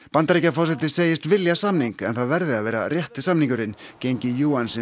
Bandaríkjaforseti segist vilja samning en það verði að vera rétti samningurinn gengi